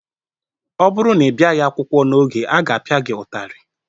Ọ bụrụ na ị bịa akwụkwọ n'oge, a ga-apịa gị ụtarị.